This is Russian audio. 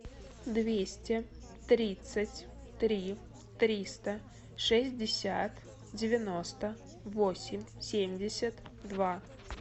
двести тридцать три триста шестьдесят девяносто восемь семьдесят два